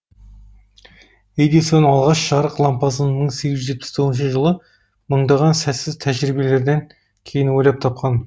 едисон алғаш жарық лампасын мың сегіз жүз жетпіс тоғызыншы жылы мыңдаған сәтсіз тәжрибелерден кейін ойлап тапқан